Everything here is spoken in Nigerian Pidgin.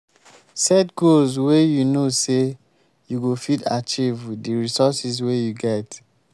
set goals wey you know sey you go fit achieve with di resources wey you get